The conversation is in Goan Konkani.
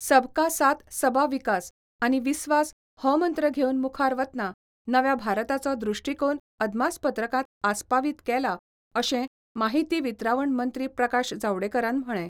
सबका साथ सबा विकास आनी विस्वास हो मंत्र घेवन मुखार वतना नव्या भारताचो दृश्टीकोन अदमासपत्रकांत आस्पावीत केला अशें माहिती वितरावण मंत्री प्रकाश जावडेकरान म्हळें.